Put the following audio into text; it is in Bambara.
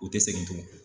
U tɛ segin tugun